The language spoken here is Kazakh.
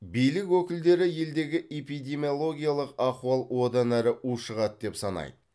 билік өкілдері елдегі эпидемиологиялық ахуал одан әрі ушығады деп санайды